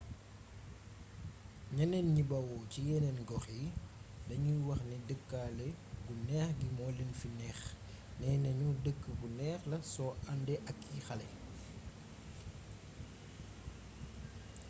ñeneen ñi bawoo ci yeneen gox yi dañuy wax ni dëkkaale gu neex gi moo leen fi neex neena ñu dëkk bu neex la soo àndee ak ay xale